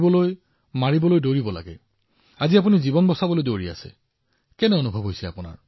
এনেয়ে মাৰিবলৈ দৌৰিব লাগে আৰু আজি আপুনি জীৱন বচাবলৈ দৌৰি আছে কেনে অনুভৱ কৰিছে